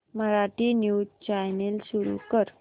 Marathi news channel सुरू कर